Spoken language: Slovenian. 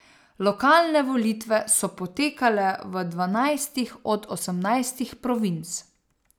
Lokalne volitve so potekale v dvanajstih od osemnajstih provinc.